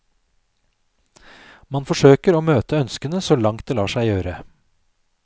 Man forsøker å møte ønskene så langt det lar seg gjøre.